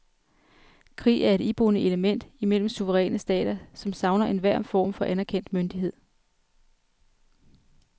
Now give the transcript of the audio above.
Krig er et iboende element imellem suveræne stater, som savner enhver form for anerkendt myndighed.